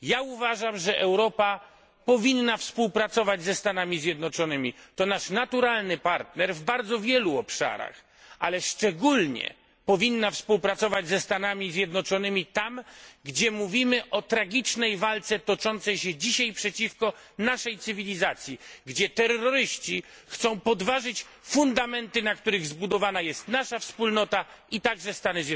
Uważam, że Europa powinna współpracować z USA to nasz naturalny partner w bardzo wielu obszarach ale szczególnie powinna współpracować z USA tam, gdzie mówimy o tragicznej walce toczącej się dzisiaj przeciwko naszej cywilizacji, gdzie terroryści chcą podważyć fundamenty, na których zbudowana jest nasza Wspólnota, a także USA.